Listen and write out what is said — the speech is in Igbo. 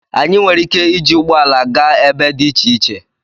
Anyị nwere ike iji ụgbọ ala gaa ebe dị iche iche